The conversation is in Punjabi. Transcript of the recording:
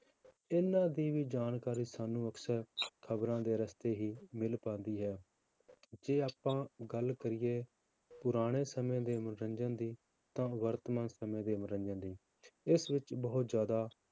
ਇਹਨਾਂ ਦੀ ਵੀ ਜਾਣਕਾਰੀ ਸਾਨੂੰ ਅਕਸਰ ਖ਼ਬਰਾਂ ਦੇ ਰਸਤੇ ਹੀ ਮਿਲ ਪਾਉਂਦੀ ਹੈ, ਜੇ ਆਪਾਂ ਗੱਲ ਕਰੀਏ ਪੁਰਾਣੇ ਸਮੇਂ ਦੇ ਮਨੋਰੰਜਨ ਦੀ ਤਾਂ ਵਰਤਮਾਨ ਸਮੇਂ ਦੇ ਮਨੋਰੰਜਨ ਦੀ, ਇਸ ਵਿੱਚ ਬਹੁਤ ਜ਼ਿਆਦਾ